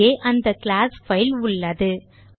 இங்கே அந்த class file உள்ளது